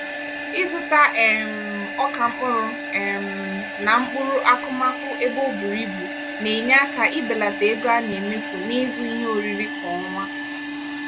ịzụta um ọka mkpụrụ um na mkpụrụ akụmakụ ebe o bùrù ibù na-enye aka ibelata ego a na-emefu n'ịzụ ihe oriri kwa ọnwa.